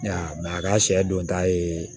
a ka sɛ don ta ye